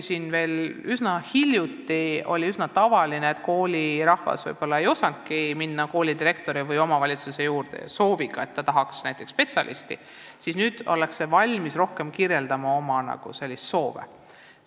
Veel üsna hiljuti oli päris tavaline, et koolirahvas ei osanudki minna kooli direktori või omavalitsuse juurde sooviga, et tahaks abiks üht või teist spetsialisti, kuid nüüd ollakse valmis märksa rohkem selliseid soove avaldama.